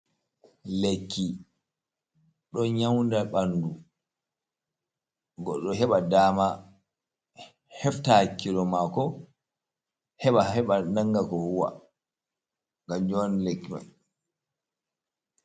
lekki don nyauda bandu, goddo do heba dama, hefta hak kilo mako, heba nan ga ko huwa gam kanjum on lekki man.